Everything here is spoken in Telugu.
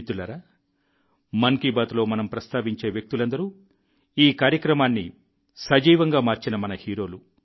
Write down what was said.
మిత్రులారా మన్ కీ బాత్లో మనం ప్రస్తావించే వ్యక్తులందరూ ఈ కార్యక్రమాన్ని సజీవంగా మార్చిన మన హీరోలు